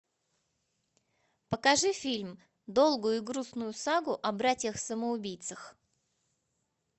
покажи фильм долгую и грустную сагу о братьях самоубийцах